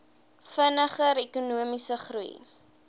vinniger ekonomiese groei